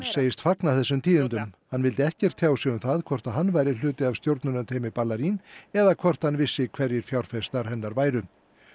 segist fagna þessum tíðindum hann vildi ekkert tjá sig um það hvort hann væri hluti af stjórnunarteymi eða hvort hann vissi hverjir fjárfestar hennar væru